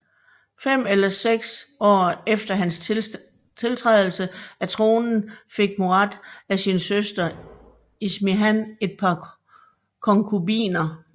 Fem eller seks år efter hans tiltrædelse af tronen fik Murad af sin søster Ismihan et par konkubiner